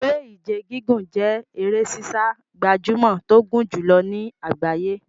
Eré Ìje gígùn jẹ́ eré sísá gbajúmọ̀ tó gùn jùlọ ní àgbáyé.